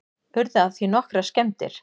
Urðu af því nokkrar skemmdir